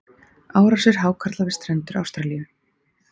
árásir hákarla við strendur ástralíu